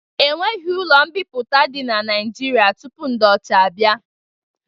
Ọnweghi ụlo mbiputa di na naijiria tụpụ ndi ọcha abia